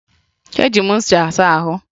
Eji m ncha saa ahụ